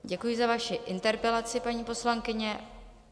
Děkuji za vaši interpelaci, paní poslankyně.